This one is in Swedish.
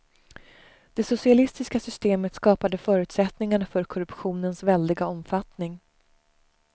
Det socialistiska systemet skapade förutsättningarna för korruptionens väldiga omfattning.